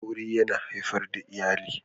Aure yana haifar da iyali